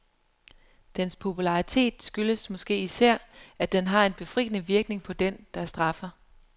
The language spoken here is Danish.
Dens popularitet skyldes måske især, at den har en befriende virkning på den, der straffer.